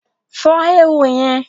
Fọ́ éwo yẹn